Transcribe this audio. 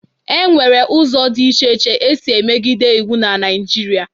E nwere ụzọ dị iche iche e si emegide iwu na Naịjirịa.